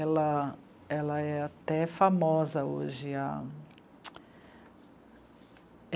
Ela, ela é até famosa hoje.